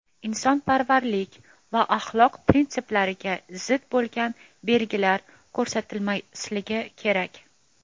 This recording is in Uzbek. insonparvarlik va axloq prinsiplariga zid bo‘lgan belgilar ko‘rsatilmasligi kerak.